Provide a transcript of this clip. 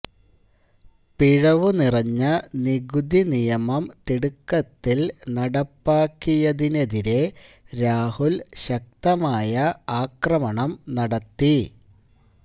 പിഴവുനിറഞ്ഞ നികുതിനിയമം തിടുക്കത്തിൽ നടപ്പാക്കിയതിനെതിരെ രാഹുൽ ശക്തമായ ആക്രമണം നടത്തി